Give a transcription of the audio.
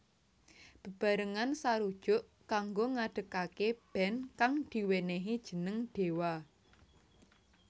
Bebarengan sarujuk kanggo ngadegaké band kang diwenehi jeneng Dewa